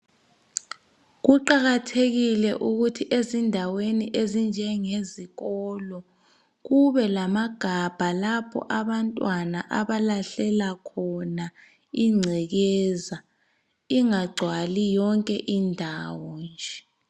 Kuqakathekile ukuthi ezindaweni ezinjengezikolo kube lamagabha lapho abantwana abalahlela khona ingcekeza ingagcwali yonke indawo nje.